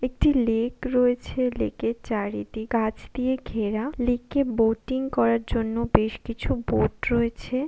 একটি লেক রয়েছে লেকের চারিদিক গাছ দিয়ে ঘেরা লেকে বোটিং করার জন্য বেশ কিছু বোট রয়েছে--